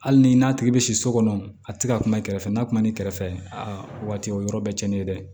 Hali ni n'a tigi bɛ si so kɔnɔ a tɛ ka kuma i kɛrɛfɛ n'a kuma n'i kɛrɛfɛ aa o waati o yɔrɔ bɛɛ tiɲɛnen dɛ